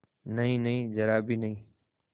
नहींनहीं जरा भी नहीं